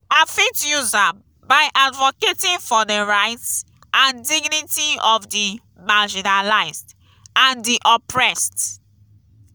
i fit use am by advocating for di rights and dignity of di marginalized and di oppressed.